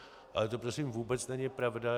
Ale to prosím vůbec není pravda.